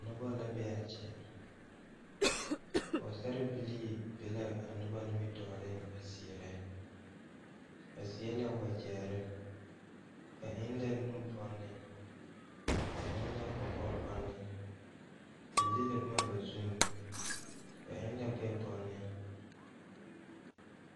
Nobɔ la bee aa kyɛ pɔɔsarebilii be ka nobɔ nimitooreŋ deɛnɛ ba seɛ la wagyɛrre ba eŋ ka nubanne ba eŋ la kɔkɔbanne ba le la bomma ba zuiŋ ba eŋ gbɛɛ banned.